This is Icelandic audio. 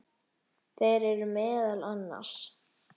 Þeir eru meðal annars